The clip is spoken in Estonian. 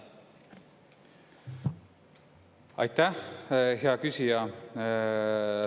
Aitäh, hea küsija!